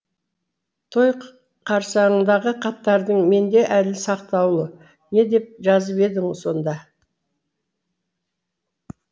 той қарсаңындағы хаттарың менде әлі сақтаулы не деп жазып едің сонда